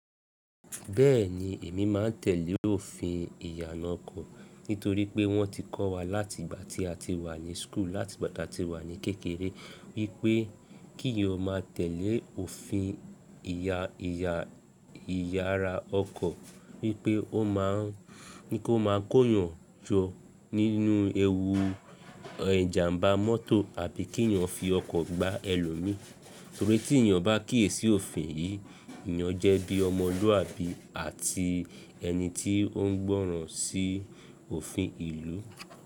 Bẹ́ẹ̀ni, èmi máa ń tẹ̀lé òfin ìyanà ọkọ̀ nítorí pé wọ́n ti kọ́ wa láti ìgbà tí a ti wà ní school, láti ìgbà tí a ti wà ní kékeré wípé kí o má tẹ̀lé òfin ìya ìyà ìyara ọkọ̀, wípé o n ma ó máa ń kó yàn jó nínú ewu ijàmbá mọ́tò àbí kí èèyàn fi ọkọ̀ gbá ẹlòmíí, torí tí èèyàn bá kíyèsí òfin yìí, èèyàn jẹ́ bí ọmọlúwàbí àti ẹni tí ó ń gbọ́ràn sí òfin ìlú.